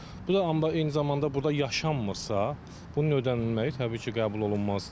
Bu da amma eyni zamanda burda yaşanmırsa, bunun ödənilməyi təbii ki, qəbul olunmazdı.